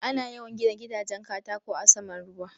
Ana yawan gina gidajen katako a saman ruwa.